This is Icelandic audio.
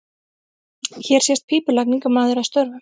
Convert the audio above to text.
Hér sést pípulagningamaður að störfum.